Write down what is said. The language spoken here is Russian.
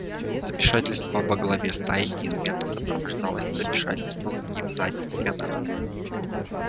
замешательство во главе стаи неизменно сопровождалось замешательством и в задних рядах